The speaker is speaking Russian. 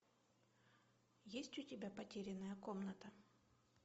есть у тебя потерянная комната